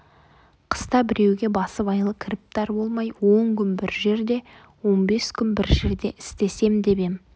қыста біреуге басыбайлы кіріптар болмай он күн бір жерде он бес күн бір жерде істесем деп ем